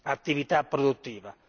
attività produttiva.